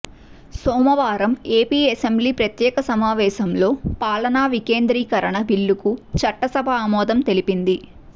సోమవారం AP assembly ప్రత్యేక సమావేశంలో పాలనా వికేంద్రీకరణ బిల్లుకు చట్టసభ ఆమోదం తెలిపింది